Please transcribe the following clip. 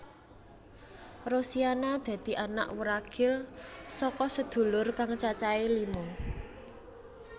Rosiana dadi anak wuragil saka sadulur kang cacahé lima